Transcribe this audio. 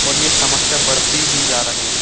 और ये समस्या बढ़ती ही जा रही है।